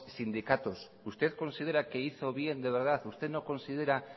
sindicatos usted considera que hizo bien de verdad usted no considera